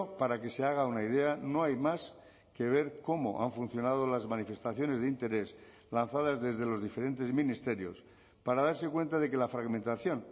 para que se haga una idea no hay más que ver cómo han funcionado las manifestaciones de interés lanzadas desde los diferentes ministerios para darse cuenta de que la fragmentación